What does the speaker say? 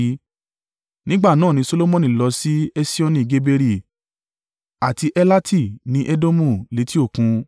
Nígbà náà ni Solomoni lọ sí Esioni-Geberi àti Elati ní Edomu létí òkun.